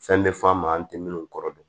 Fɛn bɛ f'an ma an tɛ minnu kɔrɔ don